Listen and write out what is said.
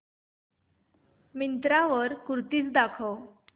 मिंत्रा वर कुर्तीझ दाखव